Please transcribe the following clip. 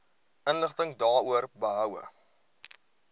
inligting daaroor behoue